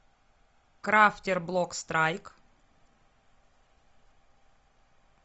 крафтер блок страйк